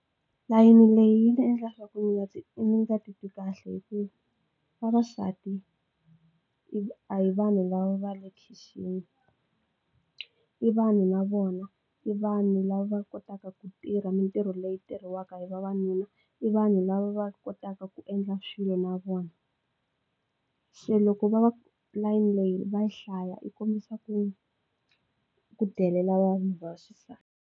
Layeni leyi yi nga endla swaku ndzi nga ndzi nga titwi kahle hi ku vavasati i a hi vanhu lava va le khixini i vanhu na vona i vanhu lava kotaka ku tirha mintirho leyi tirhisiwaka hi vavanuna i vanhu lava va kotaka ku endla swilo na vona se loko va va layeni leyi va yi hlaya yi kombisa ku ku delela vanhu vaxisati.